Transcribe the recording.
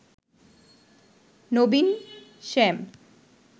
Nabin Shyam."